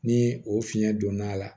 Ni o fiyɛn donn'a la